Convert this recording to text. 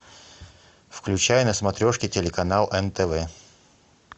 включай на смотрешке телеканал нтв